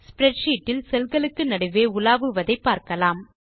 spreadsheet இல் cell களுக்கு நடுவே உலாவுவதை பார்க்கலாம்